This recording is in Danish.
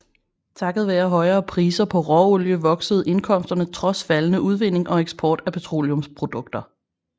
Takket være højere priser på råolie voksede indkomsterne trods faldende udvinding og eksport af petroleumsprodukter